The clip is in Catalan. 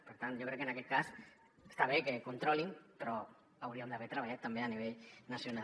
per tant jo crec que en aquest cas està bé que controlin però haurien d’haver treballat també a nivell nacional